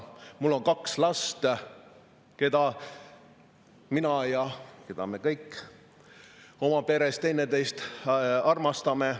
Mul on kaks last, keda mina ja me kõik oma peres üksteist armastame.